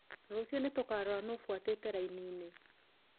Rũcio nĩtũkarora nũ ũfuatĩte raini-inĩ.